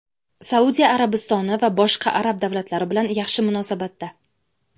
Saudiya Arabistoni va boshqa arab davlatlari bilan yaxshi munosabatda.